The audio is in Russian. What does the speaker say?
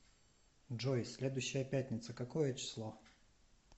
джой следующая пятница какое число